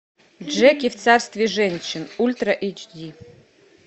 джеки в царстве женщин ультра эйч ди